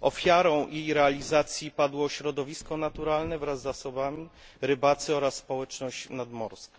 ofiarą jej realizacji padło środowisko naturalne wraz z zasobami, rybacy oraz społeczność nadmorska.